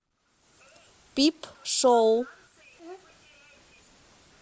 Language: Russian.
пип шоу